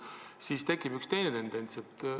Aga siis tekib üks teine tendents.